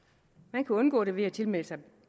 man kan undgå det ved at tilmelde sig